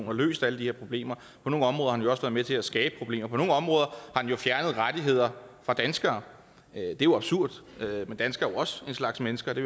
har løst alle de her problemer på nogle områder har den også være med til at skabe problemer på nogle områder har den jo fjernet rettigheder fra danskere det er absurd for danskere også en slags mennesker det